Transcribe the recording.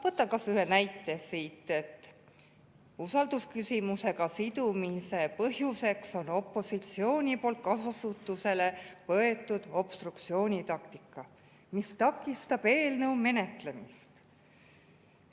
Võtan kas või ühe näite siit: "Usaldusküsimusega sidumise põhjuseks on opositsiooni poolt kasutusele võetud obstruktsioonitaktika, mis takistab eelnõu menetlemist.